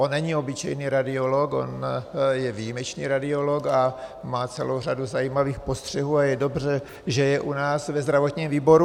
On není obyčejný radiolog, on je výjimečný radiolog a má celou řadu zajímavých postřehů a je dobře, že je u nás ve zdravotním výboru.